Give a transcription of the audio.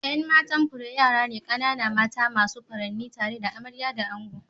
Yan matan fure yara ne kanana mata masu furanni tare da amarya da ango.